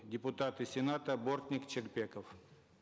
депутаты сената бортник шелпеков